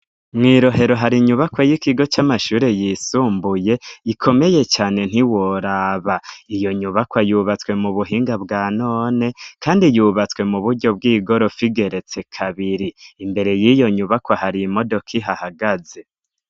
Mw'i Rohero hari inyubakwa y'ikigo c'amashuri yisumbuye ikomeye cane ntiworaba. Iyo nyubakwa yubatswe mu buhinga bwa none, kandi yubatswe mu buryo bw'igorofa igeretse kabiri. Imbere y'iyo nyubakwa hari imodoka ihahagaze.